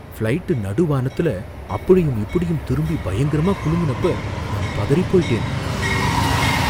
Flight நடு வானத்துல அப்படியும் இப்படியும் திரும்பி பயங்கரமா குலுங்கனப்ப நான் பதறிப் போயிட்டேன்.